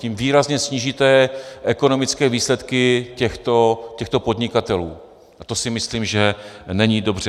Tím výrazně snížíte ekonomické výsledky těchto podnikatelů a to si myslím, že není dobře.